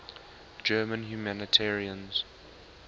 german humanitarians